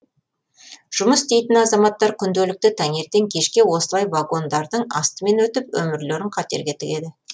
жұмыс істейтін азаматтар күнделікті таңертең кешке осылай вагондардың астымен өтіп өмірлерін қатерге тігеді